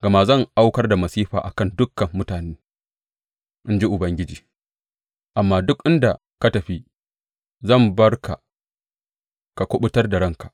Gama zan aukar da masifa a kan dukan mutane, in ji Ubangiji, amma duk inda ka tafi zan bar ka ka kuɓutar da ranka.